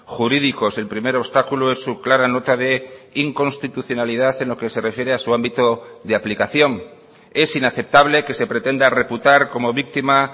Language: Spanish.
jurídicos el primer obstáculo es su clara nota de inconstitucionalidad en lo que se refiere a su ámbito de aplicación es inaceptable que se pretenda reputar como víctima